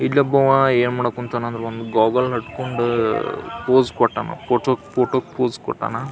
ಇಲ್ಲೊಬ್ಬಆವಾ ಏನು ಮಾಡಕ್ ಕುಂತಾನೆ ಅಂದ್ರೆ ಒಂದು ಗೋಗಲ್ ಹಾಕ್ಕೊಂಡು ಪೋಸ್ ಕೊಟ್ಟಾನ ಪೊಟುಕ್ ಪೊಟುಕ್ ಪೋಸ್ ಕೊಟ್ಟಾನ.